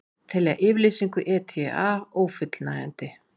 Telja yfirlýsingu ETA ófullnægjandi